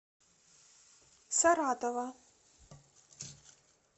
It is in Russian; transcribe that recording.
саратова